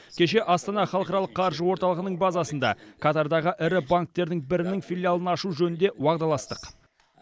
кеше астана халықаралық қаржы орталығының базасында катардағы ірі банктердің бірінің филиалын ашу жөнінде уағдаластық